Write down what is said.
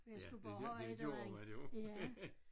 For jeg skulle bare have et eller andet